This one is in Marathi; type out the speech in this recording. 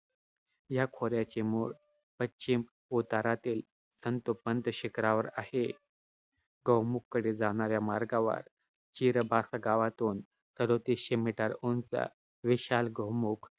या खोऱ्याचे मूळ पश्चिम उतारातील संतोपंत शिखरावर आहे. गौमुखकडे जाणाऱ्या मार्गावर, चिरबासा गावातून सदोतीसशे meter उंच विशाल गौमुख